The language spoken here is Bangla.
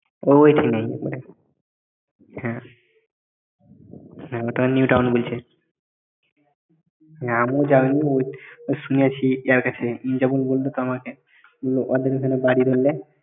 ও ওই চেনে হ্যাঁ হ্যাঁ ওটা new town বলছে আমিও জানি ওই শুনেছি যার কাছে সে যখন বলল আমাকে ওইখানে বাড়ি বলে